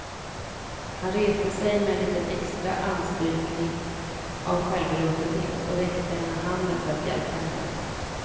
Han reste sig med en liten extra anstrykning av självbelåtenhet och räckte henne handen för att hjälpa henne upp.